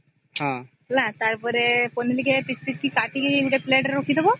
ହେଲା ତାର ପରେ ପନିର କେ ପିସ ପିସ କେ କତିକି ଗୋଟେ plate ରେ ରଖି ଦବ